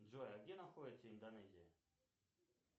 джой а где находится индонезия